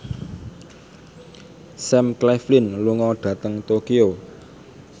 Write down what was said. Sam Claflin lunga dhateng Tokyo